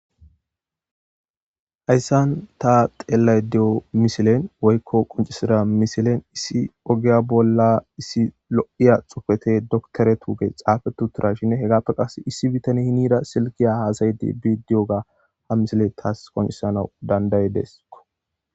Hayssan ta xeellay deyo misilen woykko quncisida misilen issi ogiya bolla issi lo'iya xupete doktore tuuge xaafetu tura shinne hegapto qaas issi bitani hinida silkiya haasaydi bidiyoga ha misile taas qoncisanau danday deesko.